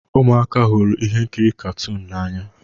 Ụmụaka hụrụ ihe nkiri katuunu n'anya